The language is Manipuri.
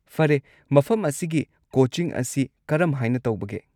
ꯐꯔꯦ, ꯃꯐꯝ ꯑꯁꯤꯒꯤ ꯀꯣꯆꯤꯡ ꯑꯁꯤ ꯀꯔꯝꯍꯥꯏꯅ ꯇꯧꯕꯒꯦ?